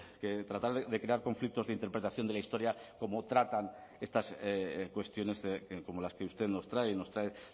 que tratar de crear conflictos de interpretación de la historia como tratan estas cuestiones como las que usted nos trae nos trae